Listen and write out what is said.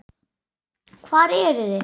Hvar eruð þið?